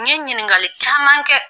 N ɲe ɲininkali caman kɛ